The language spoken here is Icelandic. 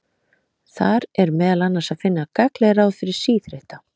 Þar er meðal annars að finna gagnleg ráð fyrir síþreytta.